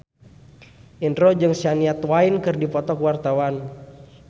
Indro jeung Shania Twain keur dipoto ku wartawan